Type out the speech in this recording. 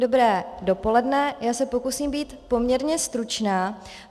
Dobré dopoledne, já se pokusím být poměrně stručná.